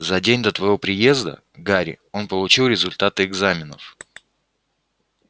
за день до твоего приезда гарри он получил результаты экзаменов